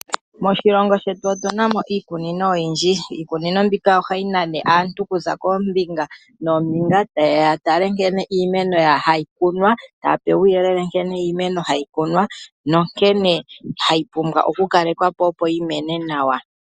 Moshilongo shetu otunamo iikunino oyindji. Iikunino mbika ohayi nane aantu okuza koombinga noombinga tayeya yatale nkene iimeno hayi kunwa, taya pewa uuyelele nkene iimeno hayi kunwa na nkene hayi pumbwa okukalekwa po opo yimene nawa.